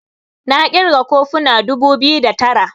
na kirga kofuna dubu biyu da Tara